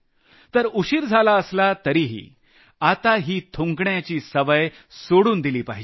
तर उशिर झाला असला तरीही आता ही थुंकण्याची सवय सोडून दिली पाहिजे